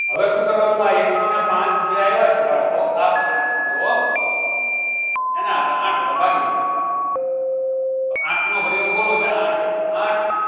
હવે શું કરવાનું છે આ એક સૌ ને પાંચ જે આવ્યા છે બાળકો ખાસ ધ્યાન આપજો એને આપળે આઠ વડે ભાગી દેવાનું તો આઠ નો ગણ્યો બોલો એટલે આઠ એકુ આઠ